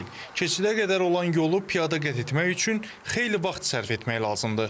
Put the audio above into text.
Keçidə qədər olan yolu piyada qət etmək üçün xeyli vaxt sərf etmək lazımdır.